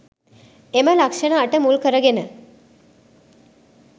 එම ලක්‍ෂණ අට මුල් කරගෙන